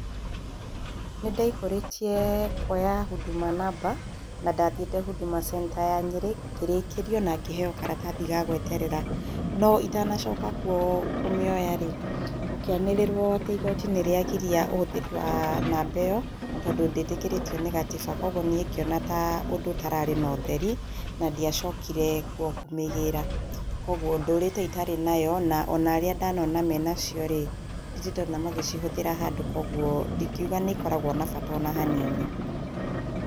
Nĩndaihũrĩtie kuoya huduma namba na ndathiĩte hũdũma centre ya Nyĩrĩ, ngĩrĩkĩrio na ngĩheo karatathi ga gweterera, no itanacoka kuo kũmĩoya-rĩ gũkĩanĩrĩrwo atĩ igoti nĩrĩagiria ũhũthĩri wa namba ĩyo, tondũ ndĩtĩkĩrĩtio nĩ gatiba kogwo niĩ ngĩona ta ũndũ ũtararĩ na ũtheri na ndiacokire kuo kũmĩgĩra, kogwo ndũrĩte itarĩ nayo, na arĩa ndanona me nacio-rĩ ndirĩndamona magĩcitũmĩa handũ kogwo ndingiuga nĩikoragwo na bata o na hanini.